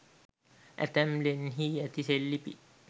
ඇතැම් ලෙන්හි ඇති සෙල්ලිපි